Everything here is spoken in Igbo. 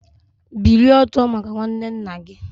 Bilie ọtọ maka nwanne nna gị!